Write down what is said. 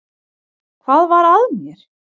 Hvað var að mér!